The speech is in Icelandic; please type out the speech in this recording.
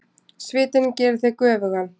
Svitinn gerir þig göfugan.